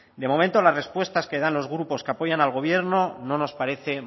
de momento las respuestas que dan los grupos que apoyan al gobierno no nos parecen